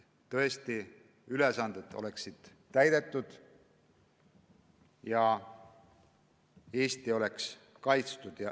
Tõesti, ülesanded peavad olema täidetud, Eesti peab olema kaitstud.